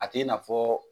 A tɛ i n'a fɔ